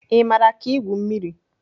Ị maara ka igwu mmiri?